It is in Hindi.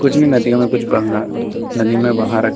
इसमें नदियों में कुछ नदी में बहा रखा--